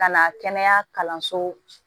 Ka na kɛnɛya kalanso